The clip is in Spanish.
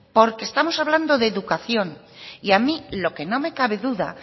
porque estamos hablando de educación y a mí lo que no me cabe duda